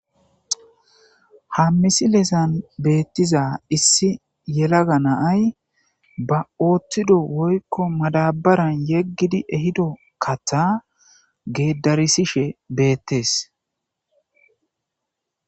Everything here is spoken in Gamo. Ha misileza betiza issi yelaga na'ay ba othido woykon madabaran yegidi ehida katha gedarisishe betes